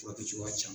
Furakɛcogoya ka ca